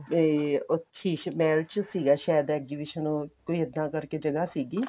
ਤੇ ਉਹ ਸ਼ੀਸ਼ ਮਹਲ ਚ ਸੀਗਾ ਸ਼ਾਇਦ exhibition ਉਵੀ ਇੱਦਾਂ ਕਰਕੇ ਜਗਾ ਸੀਗੀ